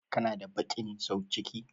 Kana da baƙin sauciki?